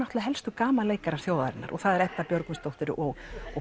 helstu gamanleikarar þjóðarinnar og það er Edda Björgvinsdóttir og